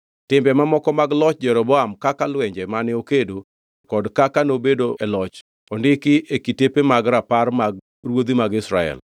Timbe mamoko mag loch Jeroboam kaka lwenje mane okedo kod kaka nobedo e loch ondiki e kitepe mag rapar mag ruodhi mag Israel.